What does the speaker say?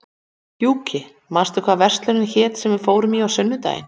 Gjúki, manstu hvað verslunin hét sem við fórum í á sunnudaginn?